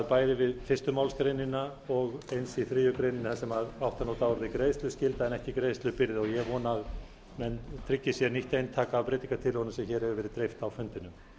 bæði við fyrstu málsgrein og eins í þriðju grein þar sem átti að standa greiðsluskylda en ekki greiðslubyrði ég vona að menn tryggi sér nýtt eintak af breytingartillögunum sem dreift hefur verið á fundinum